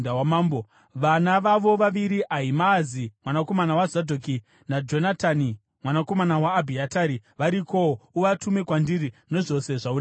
Vana vavo vaviri, Ahimaazi mwanakomana waZadhoki naJonatani mwanakomana waAbhiatari, varikowo. Uvatume kwandiri nezvose zvaunenge wanzwa.”